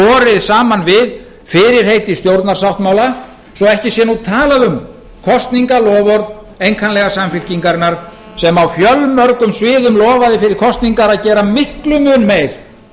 borið saman við fyrirheit í stjórnarsáttmála svo ekki sé nú talað um kosningaloforð einkanlega samfylkingarinnar sem á fjölmörgum sviðum lofaði fyrir kosningar að gera miklum mun meir